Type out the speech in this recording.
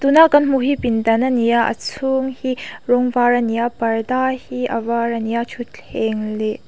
tuna kan hmuh hi pindan ani a a chhung hi rawng var a ni a parda hi a var ani a thuthleng leh--